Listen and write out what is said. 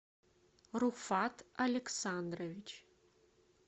руфат александрович